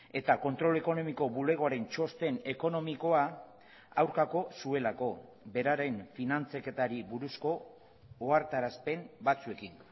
eta kontrol ekonomiko bulegoaren txosten ekonomikoa aurkako zuelako beraren finantzaketari buruzko ohartarazpen batzuekin